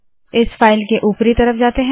इस फाइल के उपरी तरफ जाते है